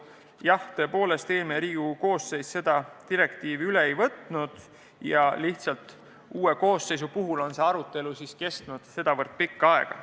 Jah, tõepoolest, eelmine Riigikogu koosseis neid üle ei võtnud, uues koosseisus on see arutelu aga kestnud nii pikka aega.